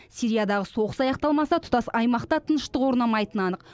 сириядағы соғыс аяқталмаса тұтас аймақта тыныштық орнамайтыны анық